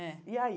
É e aí?